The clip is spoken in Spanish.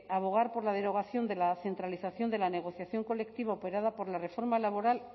abogar por la derogación de la centralización de la negociación colectiva operada por la reforma laboral